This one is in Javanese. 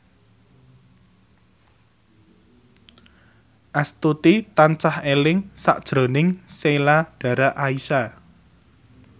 Astuti tansah eling sakjroning Sheila Dara Aisha